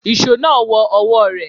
Ìṣó náà wọ ọwọ́ rẹ̀.